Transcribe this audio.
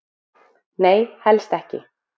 Nei, helst ekki.